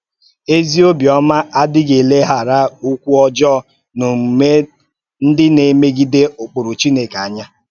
Ézì ọ̀bịọ́mà ádíghị̀ éléghárà òkwù ọ́jọọ na òmúmè ńdí na-èmègíde ụ̀kpụrụ̀ Chúkwú ànyà.